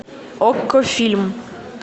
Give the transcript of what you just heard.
окко фильм